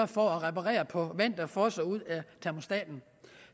for at reparere på vand der fosser ud af en termostat